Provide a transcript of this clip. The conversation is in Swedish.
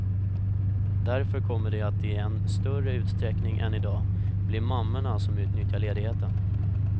Därför kommer det att i än större utsträckning än i dag bli mammorna som utnyttjar ledigheten.